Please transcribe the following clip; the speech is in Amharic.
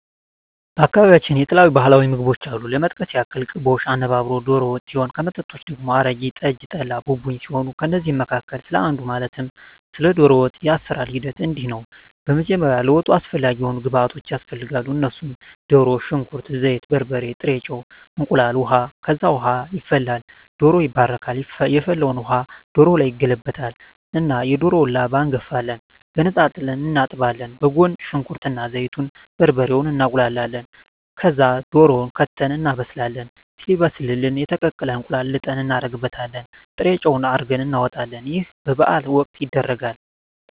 በአካባቢያቸው የተለያዩ ባህላዊ ምግቦች አሉ ለመጥቀስ ያክል ቅቦሽ፣ አነባበሮ፣ ዶሮ ወጥ ሲሆን ከመጠጦች ደግሞ አረቂ፣ ጠጅ፣ ጠላ፣ ቡቡኝ ሲሆኑ ከእነዚህ መካከል ስለ አንዱ ማለትም ስለ ዶሮ ወጥ የአሰራሩ ሂደት እንዲህ ነው በመጀመሪያ ለወጡ አስፈላጊ የሆኑ ግብዓቶች ያስፈልጋሉ እነሱም ድሮ፣ ሽንኩርት፣ ዘይት፣ በርበሬ፣ ጥሬ ጨው፣ እንቁላል፣ ውሀ፣ ከዛ ውሃ ይፈላል ዶሮው ይባረካል የፈላውን ውሀ ዶሮው ላይ ይገለበጣል እና የዶሮውን ላባ እንጋፍፋለን ገነጣጥለን እናጥባለን በጎን ሽንኩርት እና ዘይቱን፣ በርበሬውን እናቁላላለን ከዛ ድሮውን ከተን እናበስላለን ሲበስልልን የተቀቀለ እንቁላል ልጠን እናረግበታለን ጥሬጨው አርገን እናወጣለን ይህ በበዓል ወቅት ይደረጋል።